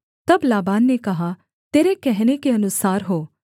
तब लाबान ने कहा तेरे कहने के अनुसार हो